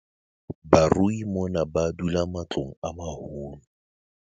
Barui mona ba dula matlong a maholo.